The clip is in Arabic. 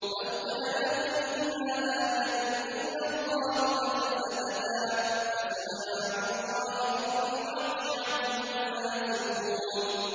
لَوْ كَانَ فِيهِمَا آلِهَةٌ إِلَّا اللَّهُ لَفَسَدَتَا ۚ فَسُبْحَانَ اللَّهِ رَبِّ الْعَرْشِ عَمَّا يَصِفُونَ